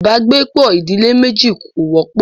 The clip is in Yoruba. ibàgbepọ̀ ìdílé méjì kò wọ́pọ̀.